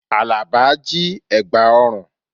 Àlàbá jí ẹ̀gbà ọrùn